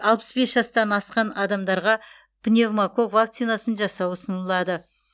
алпыс бес жастан асқан адамдарға пневмококк вакцинасын жасау ұсынылады